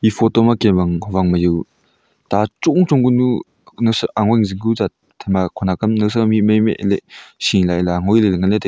e photo ma kem ang howang ma yaw ta chong chong ka nu nawsa angoi ku jingku jat thema khonak am nawsam mihmai am ehleh shiley aley angoiley ley nganley tai--